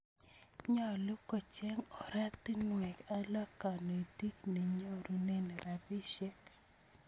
Nyalu kocheng' oratinwek alak kanetik nenyorunee rapisyek